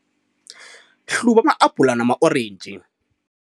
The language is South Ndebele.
Hluba ama-abhula nama-orentji.